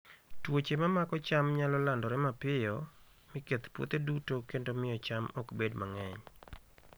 Tuoche ma mako cham nyalo landore mapiyo, mi keth puothe duto kendo miyo cham ok bed mang'eny.